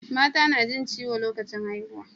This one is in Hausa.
Mata na jin ciwo lokacin haihuwa